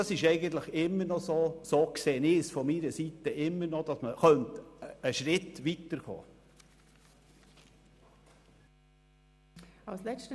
Ich sehe es eigentlich immer noch so, dass man damit einen Schritt weiterkommen könnte.